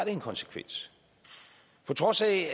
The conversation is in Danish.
en konsekvens på trods af